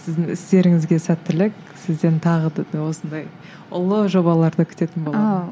сіздің істеріңізге сәттілік сізден тағы да осындай ұлы жобаларды күтетін боламыз